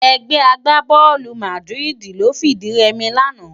Ègbè àgbábòlú Màdiridi ló fi di rèmi làná